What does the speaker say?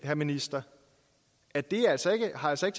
herre minister at det altså ikke har til